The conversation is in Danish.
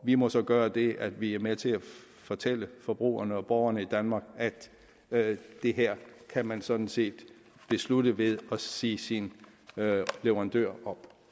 vi må så gøre det at vi er med til at fortælle forbrugerne og borgerne i danmark at det her kan man sådan set beslutte ved at sige sin leverandør